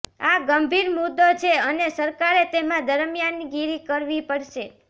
આ ગંભીર મુદ્દો છે અને સરકારે તેમાં દરમિયાનગીરી કરવી પડશે